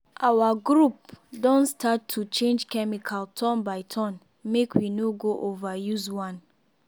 our group don start to change chemical turn by turn make we no go overuse one.